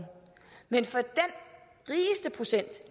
men for